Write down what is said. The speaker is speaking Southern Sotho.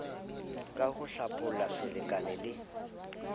ka ho tlabola selekane le